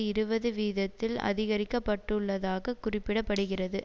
இருபது வீதத்தால் அதிகரிக்கப்பட்டுள்ளதாக குறிப்பிட படுகிறது